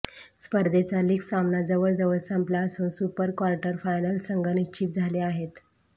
स्पर्धेचा लीग सामना जवळजवळ संपला असून सुपर क्वार्टर फायनल्स संघ निश्चित झाले आहेत